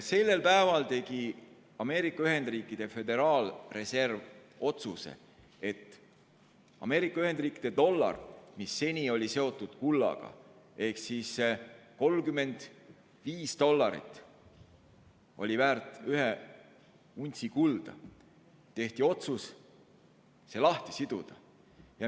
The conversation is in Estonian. Sellel päeval tegi Ameerika Ühendriikide Föderaalreserv otsuse, et Ameerika Ühendriikide dollar, mis seni oli seotud kullaga , otsustati kullast lahti siduda.